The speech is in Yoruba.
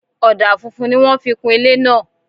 Ọ̀dà funfun ni wọ́n fi kún ilé náà